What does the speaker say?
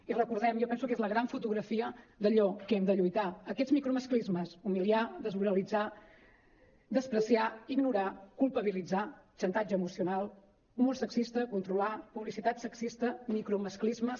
i recordem ho jo penso que és la gran fotografia d’allò que hem de lluitar aquests micromasclismes humiliar desmoralitzar menysprear ignorar culpabilitzar xantatge emocional humor sexista controlar publicitat sexista micromasclismes